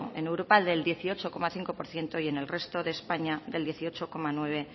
en europa del dieciocho coma cinco por ciento y en el resto de españa del dieciocho coma nueve